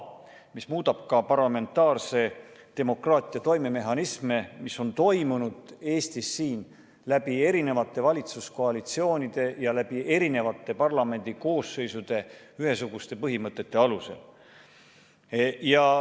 See muudab ka parlamentaarse demokraatia toimemehhanisme, mis on toiminud Eestis eri valitsuskoalitsioonide ja parlamendikoosseisude jooksul ühesuguste põhimõtete alusel.